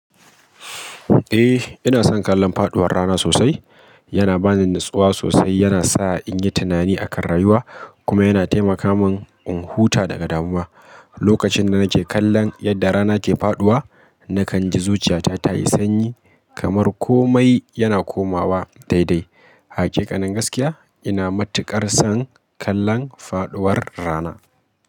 Eh, ina son kallon faɗuwar rana sosai. Yana ba ni natsuwa sosai, yana sa in yi tunani akan rayuwa kuma yana taimaka mun in huta daga damuwa. Lokacin da nake kallon yadda rana ke faɗuwa, nakan ji zuciyata ta yi sanyi kamar komai yana komawa daidai. Hakikanin gaskiya, ina matuƙar son kallon faɗuwar rana.